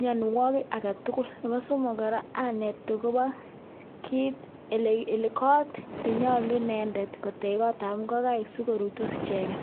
mionwogiik alak tugul. Nebo somok anet akobo koot nenyolu kotech inendet Nebo ingogaik sikoruitos icheget